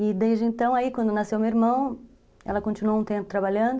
E desde então, aí quando nasceu meu irmão, ela continuou um tempo trabalhando.